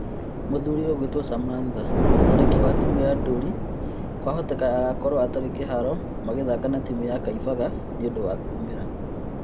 Mũthuri ũgũĩtwo Samantha: Mũtharĩkĩri wa timu ya Ndũruri kwahoteka agakorwo atarĩ kĩhaaro magĩthaka na timu ya Kaimbaga nĩũndũ wa kũũmĩra.